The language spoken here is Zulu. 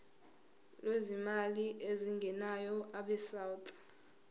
lwezimali ezingenayo abesouth